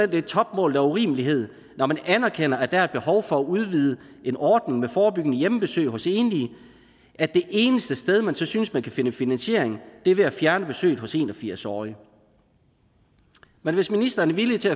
det er topmålet af urimelighed når man anerkender at der er et behov for at udvide en ordning med forebyggende hjemmebesøg hos enlige at det eneste sted men så synes man kan finde finansiering er ved at fjerne besøgene hos de en og firs årige men hvis ministeren er villig til